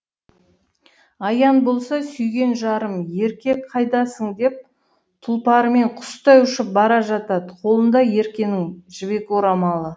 аян болса сүйген жарым ерке қайдасың деп тұлпарымен құстай ұшып бара жатады қолында еркенің жібек орамалы